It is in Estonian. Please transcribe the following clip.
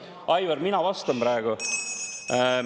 Aivar, mina vastan praegu.